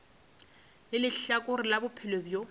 le lehlakore la bophelo bjo